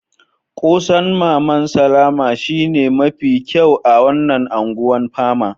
Kose'n maman Salama shine mafi kyau a wanan Ungwan Pama.